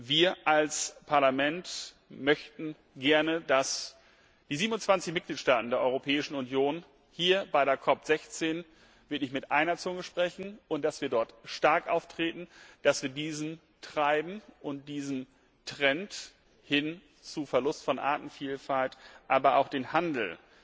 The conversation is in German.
Wir als Parlament möchten gerne, dass die 27 Mitgliedstaaten der Europäischen Union hier bei der CoP16 wirklich mit einer Zunge sprechen und dass wir dort stark auftreten, dass wir diesem Treiben und diesem Trend hin zum Verlust von Artenvielfalt, aber auch dem Handel